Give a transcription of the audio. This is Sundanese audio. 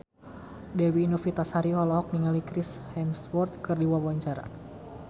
Dewi Novitasari olohok ningali Chris Hemsworth keur diwawancara